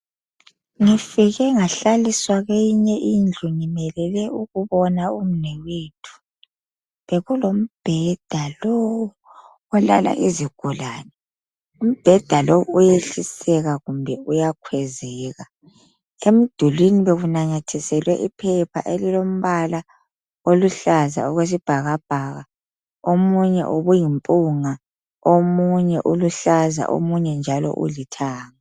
Ngifike ngahlliswa kweyinye indlu ngimelele ukubona umnewethu bekulombheda lo olala izigulane umbheda lo uyehliseka kumbe uyakhwezeka emdulini bekunamathiselwe iphepha elilo mbala oluhlaza okwesibhakabhaka omunye ubuyile mpunga omunye uluhlaza omunye ulithanga